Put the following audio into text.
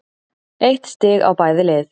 Eitt stig á bæði lið.